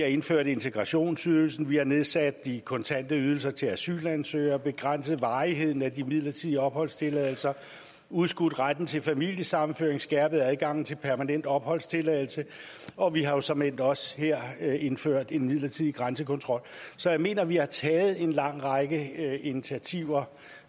indført integrationsydelsen vi har nedsat de kontante ydelser til asylansøgere begrænset varigheden af de midlertidige opholdstilladelser udskudt retten til familiesammenføring skærpet adgangen til permanent opholdstilladelse og vi har såmænd også her indført en midlertidig grænsekontrol så jeg mener vi har taget en lang række initiativer